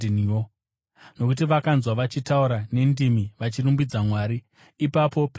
Nokuti vakavanzwa vachitaura nendimi vachirumbidza Mwari. Ipapo Petro akati,